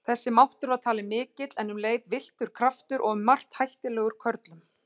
Þessi máttur var talinn mikill en um leið villtur kraftur og um margt hættulegur körlum.